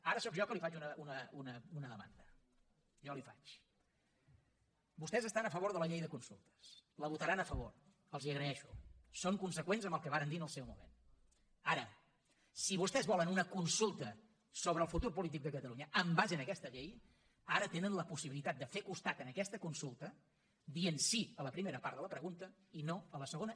ara sóc jo que li faig una demanda jo la hi faig vostès estan a favor de la llei de consultes hi votaran a favor els ho agraeixo són conseqüents amb el que varen dir en el seu moment ara si vostès volen una consulta sobre el futur polític de catalunya en base a aquesta llei ara tenen la possibilitat de fer costat a aquesta consulta dient sí a la primera part de la pregunta i no a la segona